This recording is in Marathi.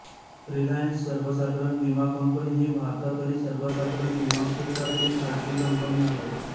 रिलायन्स सर्वसाधारण विमा कंपनी ही भारतातली सर्वसाधारण विमा क्षेत्रातील खाजगी कंपनी आहे